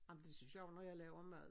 Ej men det synes jeg jo når jeg laver mad